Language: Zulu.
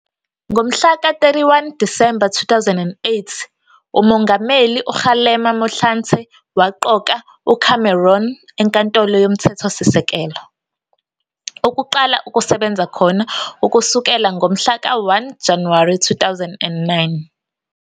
Ngomhla ka 31 Disemba 2008 uMongameli uKgalema Motlanthe waqoka uCameron eNkantolo yoMthethosisekelo, ukuqala ukusebenza khona ukusukela ngomhla ka 1 Januwari 2009.